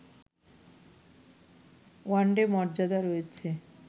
one day মর্যাদা রয়েছে